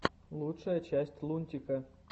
лучшая часть лунтика